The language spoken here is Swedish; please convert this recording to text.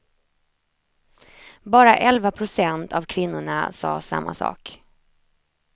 Bara elva procent av kvinnorna sa samma sak.